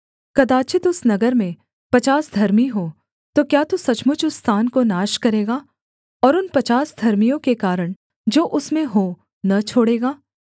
कदाचित् उस नगर में पचास धर्मी हों तो क्या तू सचमुच उस स्थान को नाश करेगा और उन पचास धर्मियों के कारण जो उसमें हों न छोड़ेगा